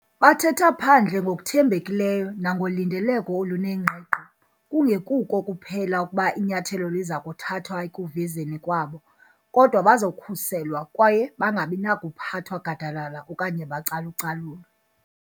Bathetha phandle ngokuthembekileyo nangolindeleko olunengqiqo kungekuko kuphela ukuba inyathelo liza kuthathwa ekuvezeni kwabo, kodwa bazokhuselwa kwaye bangabinakuphathwa gadalala okanye bacalucalulwe.